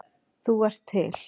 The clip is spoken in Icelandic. Þú ert til.